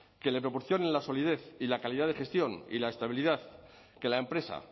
que le proporcionen la solidez y la calidad de gestión y la estabilidad que la empresa